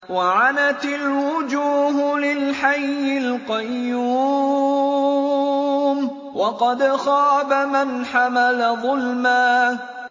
۞ وَعَنَتِ الْوُجُوهُ لِلْحَيِّ الْقَيُّومِ ۖ وَقَدْ خَابَ مَنْ حَمَلَ ظُلْمًا